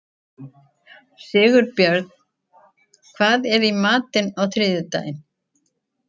Sigurbjörn, hvað er í matinn á þriðjudaginn?